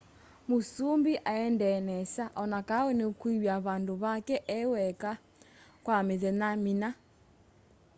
mũsũmbĩ aendee nesa onakaũ nũkwĩwa vandũ vake eweka kwa mĩthenya mĩna